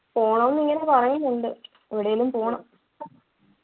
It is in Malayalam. പോണം ന്നിങ്ങനെ പറയുന്നുണ്ട് എവിടേലും പോണം